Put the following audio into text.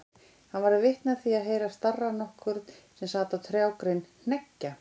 Hann varð vitni af því að heyra starra nokkurn sem sat á trjágrein hneggja.